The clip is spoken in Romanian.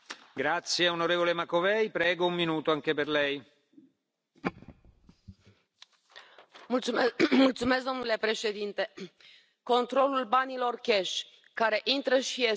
Domnule președinte, controlul banilor cash care intră și ies din Uniunea Europeană trebuie să fie obligatoriu, real, urgent și, mai ales, sistematic,